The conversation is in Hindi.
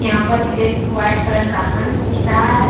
यहाँ पर एक वाइट कलर का हंस दिख रहा है ।